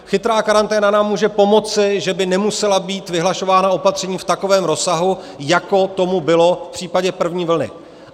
Chytrá karanténa nám může pomoci, že by nemusela být vyhlašována opatření v takovém rozsahu, jako tomu bylo v případě první vlny.